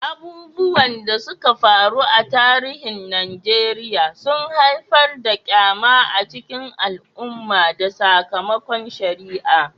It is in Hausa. Abubuwan da suka faru a tarihin Najeriya sun haifar da ƙyama a cikin al'umma da sakamakon shari'a.